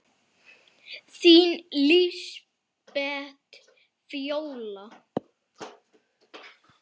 Þín Lísbet Fjóla.